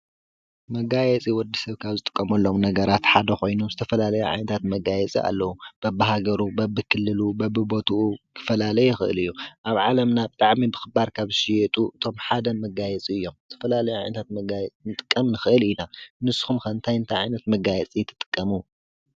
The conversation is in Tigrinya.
መጋየፂ ወዲሰብ ካብ ዝጥቀመሎም ነገራት ሓደ ኮይኑዝተፈላለዩ ዓይነታት መጋየፂ ኣለው። በብሃገሩ፣ በብክልሉ ፣በብቦትኡ ክፈላለ ይክእል እዩ። ኣብ ዓለምናብጣዕሚ ብክባር ካብ ዝሽየጡ እቶም ሓደ መጋየፂ እዮም። ዝተፈላለየ ዓይነት መጋየፂ ክንጥቀም ንክእል ኢና ።ንስኹም ከ እንታይ ዓይነት መጋየፂ ትጥቀሙ?